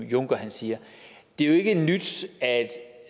juncker siger det er jo ikke nyt at